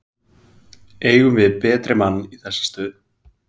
Eigum við betri mann í þessa stöðu?